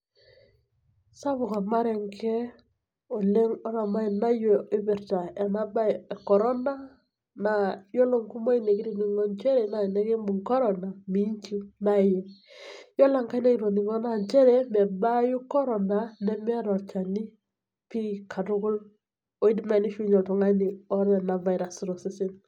Sapuk ormarenke oleng otamanayio ipirta enabae e corona, naa yiolo nkumoyu nikitining'o njere, na enikibung' corona minchiu. Yiolo enkae natoning'o na njere mebaayu corona nemeeta olchani pi katukul oidim nai nishiunye oltung'ani otaa ena virus tosesen.